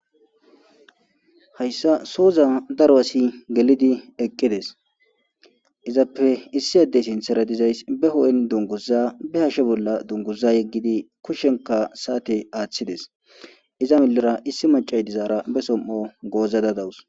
hayssa soza darwasi gelidi eqqides izappe issi addey sinthera dizays be ho7en dunguza be hashe bolla dunguza yeggidi kushenka saate aaththides iza milera issi macay dizaara be som7o gooza dadawus